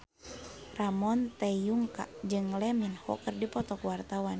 Ramon T. Yungka jeung Lee Min Ho keur dipoto ku wartawan